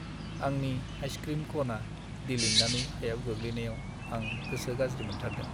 आंनि आइसक्रिम कनआ दिलिन्नानै हायाव गोग्लैनायाव आं गोसो गाज्रि मोनथारदों।